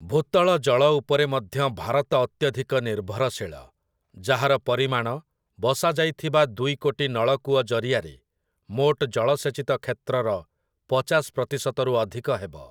ଭୂତଳ ଜଳ ଉପରେ ମଧ୍ୟ ଭାରତ ଅତ୍ୟଧିକ ନିର୍ଭରଶୀଳ, ଯାହାର ପରିମାଣ, ବସାଯାଇଥିବା ଦୁଇ କୋଟି ନଳକୂଅ ଜରିଆରେ, ମୋଟ ଜଳସେଚିତ କ୍ଷେତ୍ରର ପଚାଶ ପ୍ରତିଶତରୁ ଅଧିକ ହେବ ।